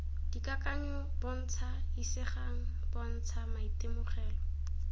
dikakanyo bontsha isegang bontsha maitemogelo